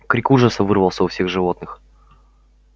крик ужаса вырвался у всех животных